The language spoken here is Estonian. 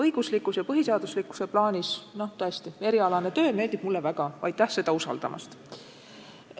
Õiguslikkuse ja põhiseaduslikkuse plaanis aga tõesti, erialane töö meeldib mulle väga, aitäh seda mulle usaldamast.